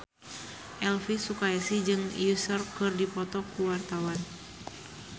Elvi Sukaesih jeung Usher keur dipoto ku wartawan